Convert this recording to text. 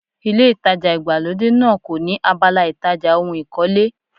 Ilé ìtajà ìgbàlódé náà kò ní abala ìtajà ohun ìkọ́lé.